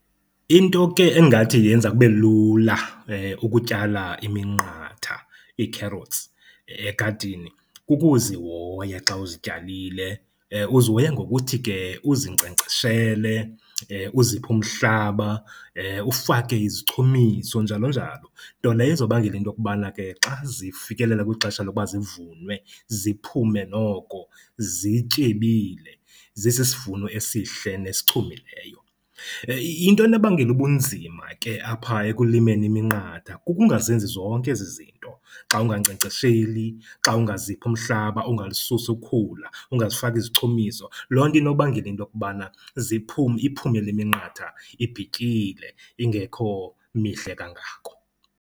Into ke engathi yenza kube lula ukutyala iminqatha, ii-carrots, egadini kukuzihoya xa uzityalile. Uzihoya ngokuthi ke uzinkcenkceshele, uziphe umhlaba, ufake izichumiso njalonjalo. Nto leyo ezobangela intokubana ke xa zifikelela kwixesha lokuba zivunwe ziphume noko zityebile zisisivuno esihle nesichumileyo. Into enobangela ubunzima ke apha ekulimeni iminqatha kukungazenzi zonke ezi zinto xa ungankcenkcesheli, xa ungaziphi umhlaba, ungalisusi ukhula, ungazifaki izichumiso. Loo nto inokubangela intokubana iphume le minqatha ibhityile, ingekho mihle kangako.